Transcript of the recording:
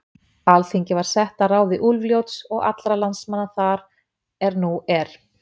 Alþingi var sett að ráði Úlfljóts og allra landsmanna þar er nú er.